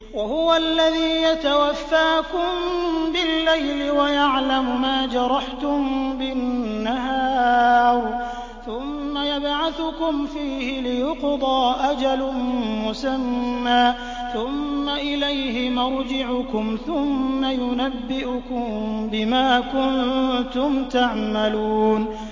وَهُوَ الَّذِي يَتَوَفَّاكُم بِاللَّيْلِ وَيَعْلَمُ مَا جَرَحْتُم بِالنَّهَارِ ثُمَّ يَبْعَثُكُمْ فِيهِ لِيُقْضَىٰ أَجَلٌ مُّسَمًّى ۖ ثُمَّ إِلَيْهِ مَرْجِعُكُمْ ثُمَّ يُنَبِّئُكُم بِمَا كُنتُمْ تَعْمَلُونَ